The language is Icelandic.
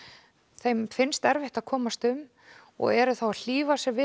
þeim finnst erfitt að komast um og eru þá að hlífa sér við